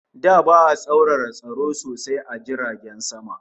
Da ba'a tsaurara tsaro sosai a jiragen sama